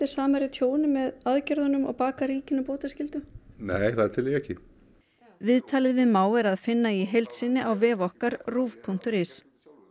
Samherja tjóni með aðgerðunum og bakað ríkinu bótaskyldu nei það tel ég ekki viðtalið við Má er að finna í heild sinni á vef okkar ruv punktur is